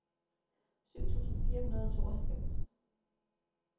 syv tusind fire hundrede og tooghalvfems